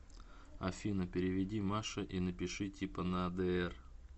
афина переведи маше и напиши типа на др